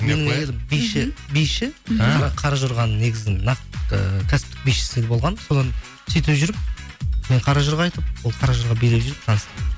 менің әйелім биші қаражорғаның негізін нақ ііі кәсіптік бишісі болған содан сөйтіп жүріп мен қаражорға айтып ол қаражорға билеп жүріп таныстық